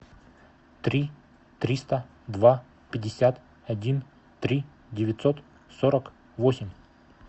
три триста два пятьдесят один три девятьсот сорок восемь